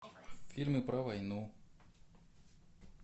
фильмы про войну